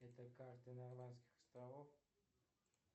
это карта нормандских островов